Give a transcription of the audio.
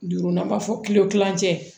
Duurunan b'a fɔ kile kilancɛ